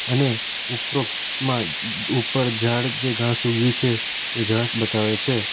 અને ઉપરોક્તમાં ઉપર ઝાડ જે ઘાસ ઉગ્યુ છે એ ઘાસ બતાવે છે.